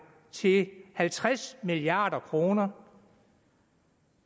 til halvtreds milliard kroner